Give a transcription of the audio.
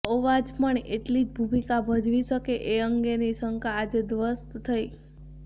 અવાજ પણ એટલી જ ભૂમિકા ભજવી શકે એ અંગેની શંકા આજે ધ્વસ્ત થઇ